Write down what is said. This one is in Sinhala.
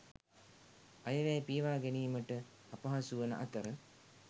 අයවැය පියවා ගැනීමට අපහසුවන අතර